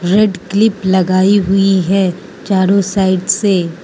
red clip लगाई हुई है चारों साइड से--